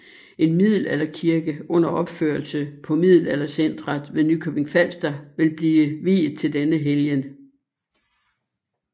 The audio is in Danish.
En middelalderkirke under opførelse på Middelaldercentret ved Nykøbing Falster vil blive viet til denne helgen